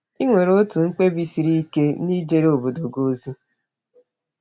Ị nwere otu mkpebi siri ike n’ijere obodo gị ozi?